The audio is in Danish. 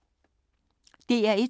DR1